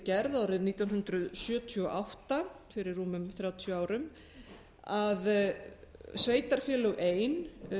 gerð árið nítján hundruð sjötíu og átta fyrir rúmum þrjátíu árum að sveitarfélög ein